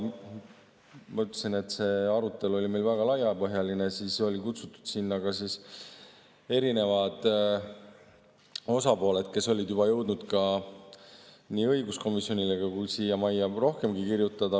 Ma ütlesin, et see arutelu oli meil väga laiapõhjaline ja sinna olid kutsutud erinevad osapooled, kes olid juba jõudnud nii õiguskomisjonile kui ka siia majja kirjutada.